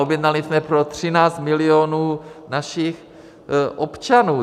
Objednali jsme pro 13 milionů našich občanů.